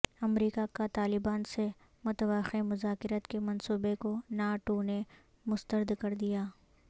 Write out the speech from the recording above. امریکہ کاطالبان سے متوقع مذاکرات کے منصوبہ کو ناٹو نے مسترد کردیا